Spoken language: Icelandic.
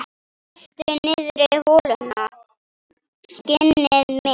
Dastu niðrí holuna, skinnið mitt?